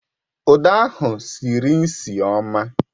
Uda ahụ sịrị nsị ọma